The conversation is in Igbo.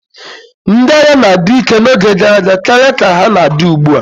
Ndị agha na-adi ike n'oge gara aga karịa ka ha na-adi ugbu a.